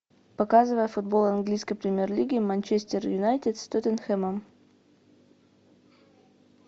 показывай футбол английской премьер лиги манчестер юнайтед с тоттенхэмом